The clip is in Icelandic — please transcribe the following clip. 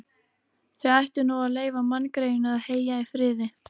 Þið ættuð nú að leyfa manngreyinu að heyja í friði